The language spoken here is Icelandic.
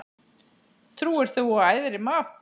Trúir þú á æðri mátt?